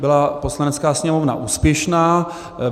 byla Poslanecká sněmovna úspěšná.